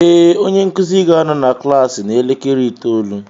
Ee, onye nkuzi ga-anọ na klaasị n'elekere itoolu